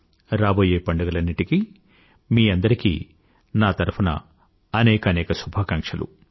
రాబోయే పండుగలన్నింటీకీ మీ అందరికీ నా తరఫున అనేకానేక శుభాకాంక్షలు